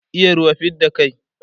iya ruwa fidda kai